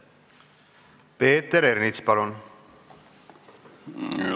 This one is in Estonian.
Peeter Ernits, palun!